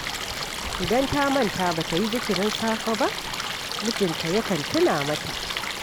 Idan ta manta ba ta yi zikirin safe ba, mijinta yakan tuna mata